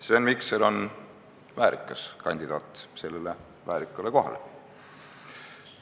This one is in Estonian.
Sven Mikser on väärikas kandidaat sellele väärikale kohale.